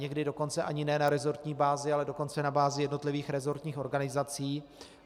Někdy dokonce ani ne na resortní bázi, ale dokonce na bázi jednotlivých resortních organizací.